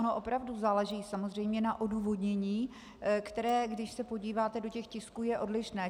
Ono opravdu záleží samozřejmě na odůvodnění, které, když se podíváte do těch tisků, je odlišné.